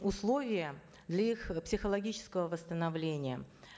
условия для их э психологического восстановления